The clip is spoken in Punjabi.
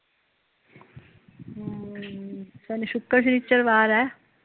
ਹਮ ਸ਼ਨੀ ਸੂਕਰ ਸ਼ਨੀਚਰਵਾਰ ਏ